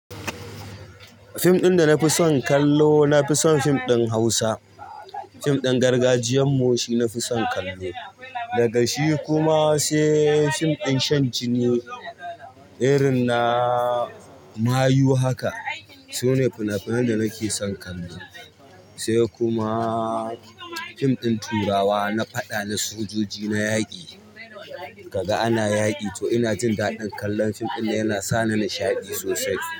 Fim ɗin da na fi son kallo na fi son fim ɗin Hausa. Fim ɗin gargajiyan mu shi na fi son kallo. Daga shi kuma sai fim ɗin shan jini irin na mayu haka. Su ne fina-finan da nake son kallo. Sai kuma fim ɗin turawa na faɗa na sojoji, na yaƙi. Kaga ana yaƙi to ina jin daɗin kallon fim ɗin yana sa ni nishaɗi sosai.